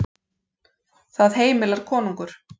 Það heimilar konungur.